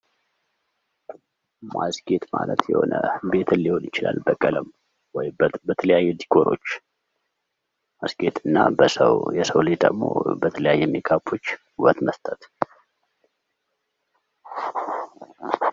ማስጌጥ ማለት ቤትን ሊሆን ይችላል በቀለም ዲኮር ማድረግ እና በሰው ልጆች ደግሞ በተለያየ ሜካፕ ውበት መስጠት ነው።